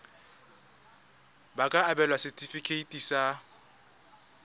ba ka abelwa setefikeiti sa